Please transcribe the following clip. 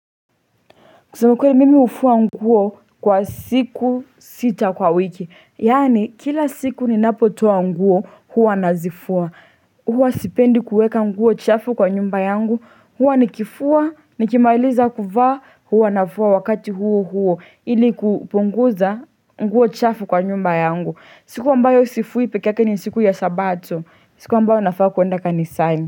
Kusema kweli mimi hufua nguo kwa siku sita kwa wiki. Yaani kila siku ninapotoa nguo hua nazifua. Hua sipendi kuweka nguo chafu kwa nyumba yangu. Hua nikifua, nikimailiza kuvaa, hua nafua wakati huo huo. Ili kupunguza nguo chafu kwa nyumba yangu. Siku ambayo sifui peke yake ni siku ya sabato. Siku ambayo nafaa kuenda kanisani.